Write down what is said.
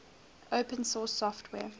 open source software